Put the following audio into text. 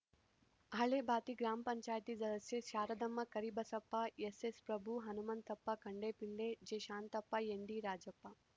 ಹಳೇ ಬಾತಿ ಗ್ರಾಮ ಪಂಚಾಯತಿ ಸದಸ್ಯೆ ಶಾರದಮ್ಮ ಕರಿಬಸಪ್ಪ ಎಸ್‌ಎಸ್‌ಪ್ರಭು ಹನುಮಂತಪ್ಪ ಕಂಡೆ ಪಿಳ್ಳೆ ಜೆಶಾಂತಪ್ಪ ಎನ್‌ಡಿರಾಜಪ್ಪ